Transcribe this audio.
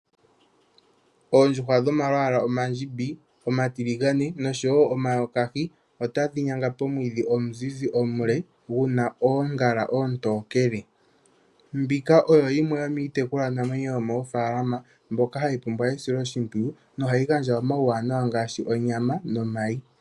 Oondjuhwa dhomalwaala omandjimbi, omatiligane noshowo omayokahi, otadhi nyanga pomwiidhi omuzizi omule guna oongala oontokele. Mbika oyo yimwe yomiitekulwanamwenyo yomoofalama mboka hayi pumbwa esiloshimpwiyu, nohayi gandja omauwanawa ngaashi onyama nomayi.